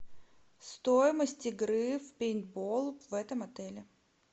стоимость игры в пейнтбол в этом отеле